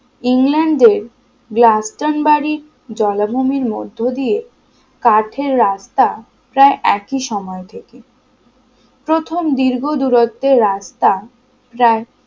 ইংল্যান্ডের ব্লাস্টান বাড়ির জলাভূমির মধ্য দিয়ে কাঠের রাস্তা প্রায় একই সময় থেকে প্রথম দীর্ঘ দূরত্বের রাস্তা প্রায়